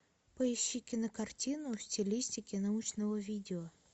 поищи кинокартину в стилистике научного видео